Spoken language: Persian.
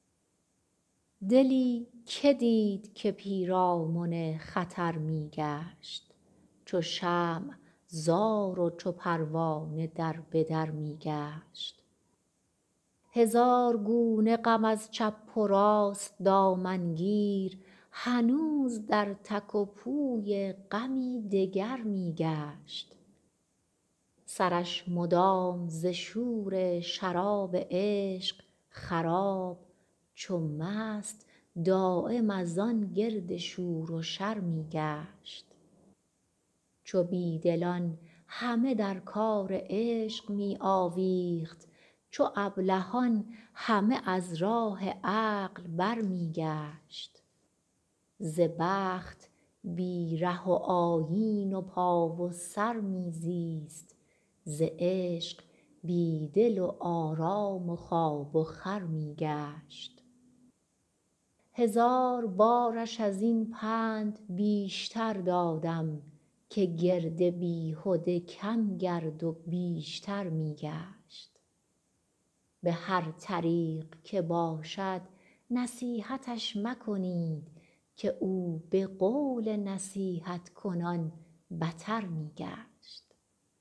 دلی که دید که پیرامن خطر می گشت چو شمع زار و چو پروانه در به در می گشت هزار گونه غم از چپ و راست دامن گیر هنوز در تک و پوی غمی دگر می گشت سرش مدام ز شور شراب عشق خراب چو مست دایم از آن گرد شور و شر می گشت چو بی دلان همه در کار عشق می آویخت چو ابلهان همه از راه عقل برمی گشت ز بخت بی ره و آیین و پا و سر می زیست ز عشق بی دل و آرام و خواب و خور می گشت هزار بارش از این پند بیشتر دادم که گرد بیهده کم گرد و بیشتر می گشت به هر طریق که باشد نصیحتش مکنید که او به قول نصیحت کنان بتر می گشت